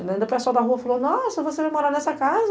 Ainda ainda o pessoal da rua falou, nossa, você vai morar nessa casa?